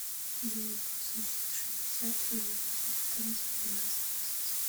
девять восемь шестьдесят три восемьсот четырнадцать двенадцать десять